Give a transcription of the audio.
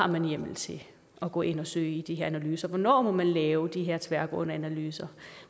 man har hjemmel til at gå ind at søge de her analyser hvornår man må lave de her tværgående analyser